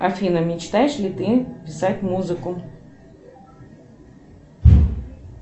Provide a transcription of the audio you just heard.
афина мечтаешь ли ты писать музыку